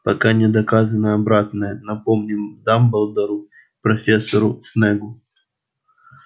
пока не доказано обратное напомнил дамблдор профессору снеггу